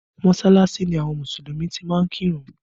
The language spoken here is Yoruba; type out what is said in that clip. Mọsalasi ni àwọn Mùsùlùmí ti ń kí ìrun